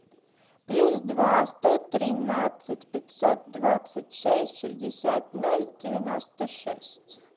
плюс два сто тринадцать пятьсот двадцать шесть шестьдесят ноль девяносто шесть